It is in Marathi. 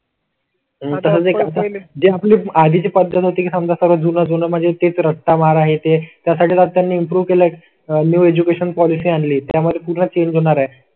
जे आपली आधी ची पद्धत होती. समजा सगळे म्हणजे तेच रस्ता बार आहे ते त्यासाठी त्यांनी इम्प्रूव केला आहे. न्यू एज्युकेशन पॉलिसी आणली त्या मध्ये पूर्ण चेंज होणार आहे.